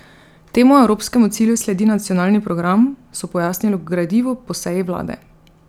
Temu evropskemu cilju sledi nacionalni program, so pojasnili v gradivu po seji vlade.